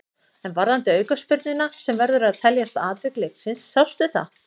En varðandi aukaspyrnuna sem verður að teljast atvik leiksins, sástu það?